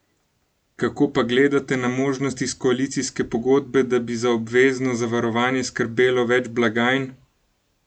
Kako pa gledate na možnost iz koalicijske pogodbe, da bi za obvezno zavarovanje skrbelo več blagajn?